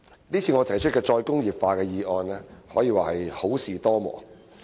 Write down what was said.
這次我提出的"再工業化"議案，可以說是好事多磨。